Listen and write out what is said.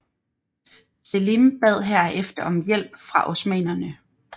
Selim bad herefter om hjælp fra osmannerne